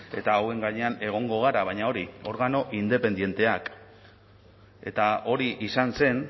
eta hauen gainean egongo gara baina hori organo independenteak eta hori izan zen